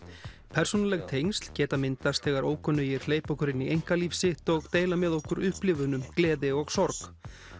persónuleg tengsl geta myndast þegar ókunnugir hleypa okkur inn í einkalíf sitt og deila með okkur upplifunum gleði og sorg